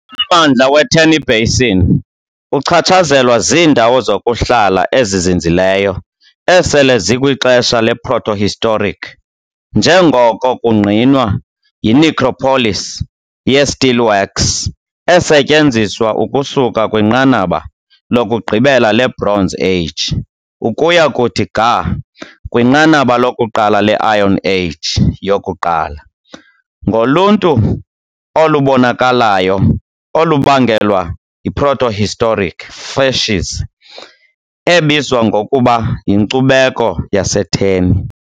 Ummandla we-Terni basin uchatshazelwa ziindawo zokuhlala ezizinzileyo esele zikwixesha leprotohistoric, njengoko kungqinwa yi-necropolis ye-Steelworks, esetyenziswa ukusuka kwinqanaba lokugqibela leBronze Age ukuya kuthi ga kwinqanaba lokuqala le-Iron Age yokuqala. ngoluntu olubonakalayo, olubangelwa yi-protohistoric "facies" ebizwa ngokuba "yiNkcubeko yaseTerni" .